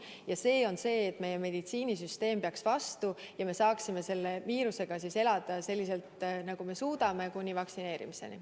Ja see on see, et meie meditsiinisüsteem peaks vastu ja me saaksime selle viirusega elada, nagu me suudame, kuni vaktsineerimiseni.